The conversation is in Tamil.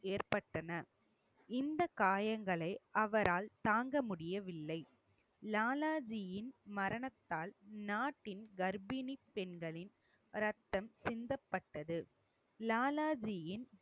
ஏற்பட்டன. இந்த காயங்களை அவரால் தாங்க முடியவில்லை லாலாஜியின் மரணத்தால் நாட்டின் கர்ப்பிணி பெண்களின் ரத்தம் சிந்தப்பட்டது லாலாஜியின்